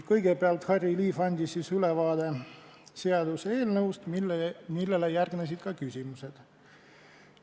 Kõigepealt andis Harry Liiv meile ülevaate seaduseelnõust, millele järgnesid küsimused.